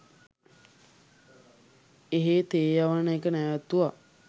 එහෙ තේ යවන එක නැවත්තුව